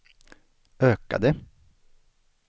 ökade